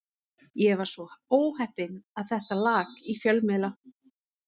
Ég var svo óheppinn að þetta lak í fjölmiðla.